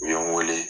U ye n wele